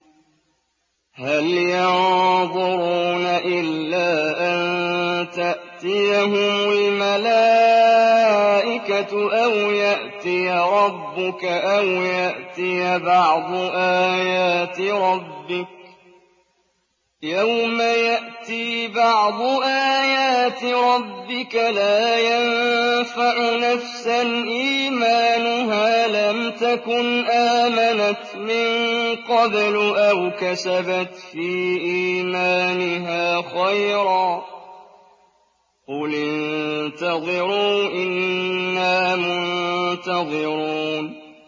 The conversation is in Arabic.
هَلْ يَنظُرُونَ إِلَّا أَن تَأْتِيَهُمُ الْمَلَائِكَةُ أَوْ يَأْتِيَ رَبُّكَ أَوْ يَأْتِيَ بَعْضُ آيَاتِ رَبِّكَ ۗ يَوْمَ يَأْتِي بَعْضُ آيَاتِ رَبِّكَ لَا يَنفَعُ نَفْسًا إِيمَانُهَا لَمْ تَكُنْ آمَنَتْ مِن قَبْلُ أَوْ كَسَبَتْ فِي إِيمَانِهَا خَيْرًا ۗ قُلِ انتَظِرُوا إِنَّا مُنتَظِرُونَ